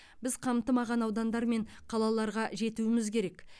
біз қамтымаған аудандар мен қалаларға жетуіміз керек